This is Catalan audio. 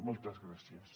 moltes gràcies